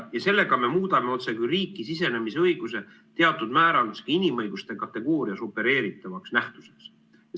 Ja sellega me muudame riiki sisenemise õiguse otsekui teatud määral inimõiguste kategoorias opereeritavaks nähtuseks.